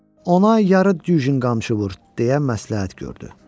ona yarı düjin qamçı vur, - deyə məsləhət gördü.